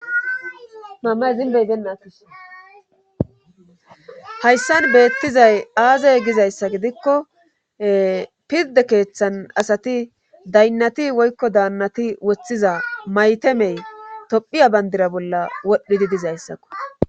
hayssan beettizay aazey gizayssa gidikko pirde keeththan asati daynnati woykko daannati woththiza maytemey tophiya bandira bolla wodhdhidi dizayssakko